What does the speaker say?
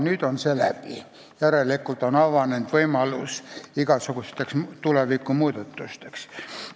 Nüüd on see aga läbi, järelikult on avanenud võimalus igasugusteks tulevikumuudatusteks.